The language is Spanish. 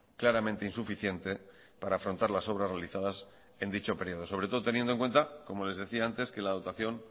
claramente insuficiente para afrontar las obras realizadas en dicho período sobre todo teniendo en cuenta como les decía antes que la dotación